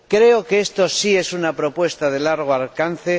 Creo que esto sí es una propuesta de largo alcance